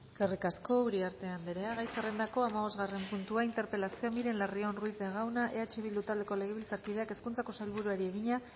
eskerrik asko uriarte andrea gai zerrendako hamabosgarren puntua interpelazioa miren larrion ruiz de gauna eh bildu taldeko legebiltzarkideak hezkuntzako sailburuari egina